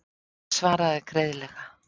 Hann svaraði greiðlega.